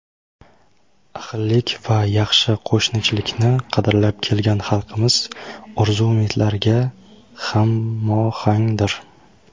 ahillik va yaxshi qo‘shnichilikni qadrlab kelgan xalqimiz orzu-umidlariga hamohangdir.